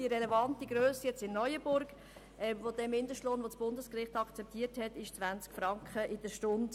Die relevante Grösse des Mindestlohns in Neuenburg, den das Bundesgericht akzeptiert hat, beträgt 20 Franken pro Stunde.